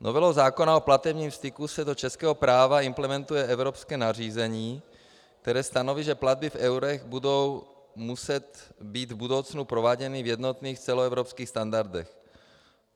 Novelou zákona o platebním styku se do českého práva implementuje evropské nařízení, které stanoví, že platby v eurech budou muset být v budoucnu prováděny v jednotných celoevropských standardech.